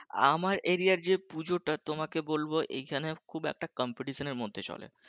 আমার area র যে পুজোটা তোমাকে বলবো এইখানে খুব একটা competition এর মধ্যে চলে